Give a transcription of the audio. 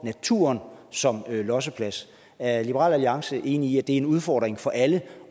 naturen som losseplads er liberal alliance enig i at det er en udfordring for alle